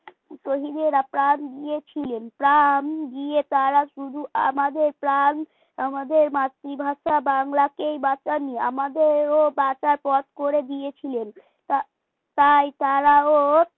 শহীদেরা প্রাণ দিয়েছিলেন প্রাণ দিয়ে তারা শুধু আমাদের প্রাণ আমাদের মাতৃভাষা বাংলাকেই বাঁচাননি আমাদের কেউ বাঁচার পথ করে দিয়েছিলেন তা তাই তারাও